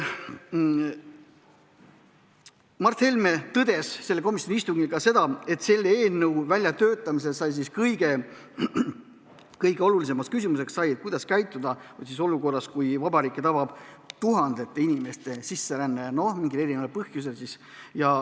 Mart Helme tõdes komisjoni istungil, et eelnõu väljatöötamisel oli kõige olulisem küsimus, kuidas käituda olukorras, kui riiki tabab mingil põhjusel tuhandete inimeste sisseränne.